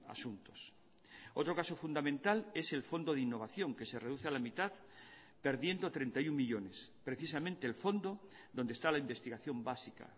asuntos otro caso fundamental es el fondo de innovación que se reduce a la mitad perdiendo treinta y uno millónes precisamente el fondo donde está la investigación básica